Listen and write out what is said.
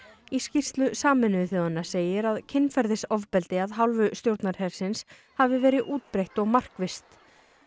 í skýrslu Sameinuðu þjóðanna segir að kynferðisofbeldi af hálfu stjórnarhersins hafi verið útbreitt og markvisst